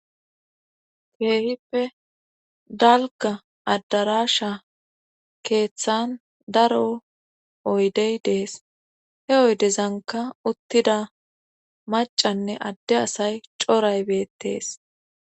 keehippe dalga addarasha keeththan daro oydey dees he oydezanka uttida macanne adde asay coray bettees